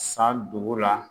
San dugu la